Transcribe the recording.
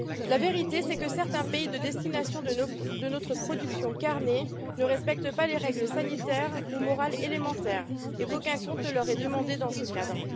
La vérité, c'est que certains pays de destination de notre production carnée ne respectent pas les règles sanitaires ou morales élémentaires et qu'aucun compte ne leur est demandé dans ce cadre.